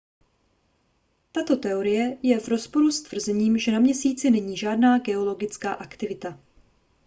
tato teorie je v rozporu s tvrzením že na měsíci není žádná geologická aktivita